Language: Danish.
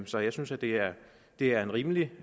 så jeg synes at det er det er en rimelig